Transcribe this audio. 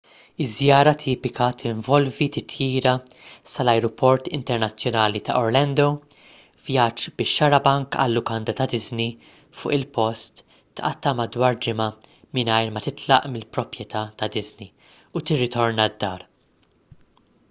iż-żjara tipika tinvolvi titjira sal-ajruport internazzjonali ta' orlando vjaġġ bix-xarabank għal-lukanda ta' disney fuq il-post tqatta' madwar ġimgħa mingħajr ma titlaq mill-proprjetà ta' disney u tirritorna d-dar